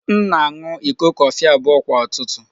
M na-aṅụ iko kọfị abụọ kwa ụtụtụ